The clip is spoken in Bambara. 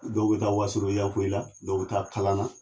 Dɔw be taa wasolon yanfolila dɔw be taa kalana